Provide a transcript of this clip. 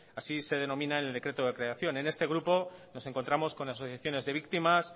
así se denominan en el decreto de creación en este grupo nos encontramos con asociaciones de víctimas